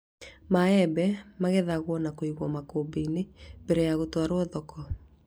Maembe magethagwo na kũigwo makũmbĩ-inĩ mbere ya gũtwarwo thoko